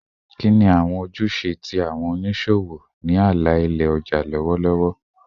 Kini awọn ojuse ti awọn oniṣowo ni ala-ilẹ ọja lọwọlọwọ?